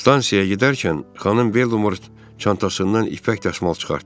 Stansiyaya gedərkən xanım Belmor çantasından ipək dəsmal çıxartdı.